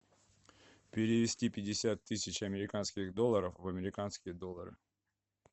перевести пятьдесят тысяч американских долларов в американские доллары